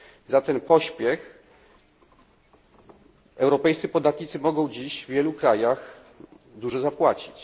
Za ten pośpiech europejscy podatnicy mogą dziś w wielu krajach dużo zapłacić.